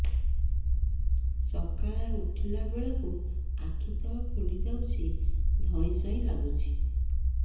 ସକାଳେ ଉଠିଲା ବେଳକୁ ଆଖି ତଳ ଫୁଲି ଯାଉଛି ଧଇଁ ସଇଁ ଲାଗୁଚି